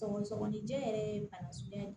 Sɔgɔsɔgɔnijɛ yɛrɛ ye bana suguya